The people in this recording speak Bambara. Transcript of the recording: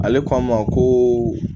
Ale k'a ma koo